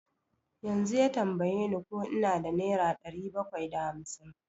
Yanzu ya tambaye ni ko ina da nera ɗari bakwai da hamsin.